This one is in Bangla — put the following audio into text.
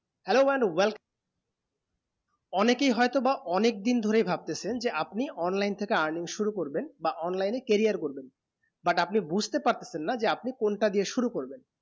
hello মানু welcome অনেকই হয়ে তো বা অনেক দিন ধরে ভাবতেছেন যে আপনি online থেকে earning শুরু করবেন বা online এ carrier শুরু করবেন but আপনি বুঝতে পারতেছেন না যে আপনি কোনটা দিয়ে শুরু করবেন